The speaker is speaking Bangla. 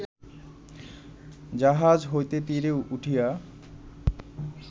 জাহাজ হইতে তীরে উঠিয়া